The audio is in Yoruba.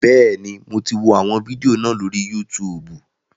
Bẹ́ẹ̀ni, mo ti wọ àwọn fídíò náà lórí Yútùùbù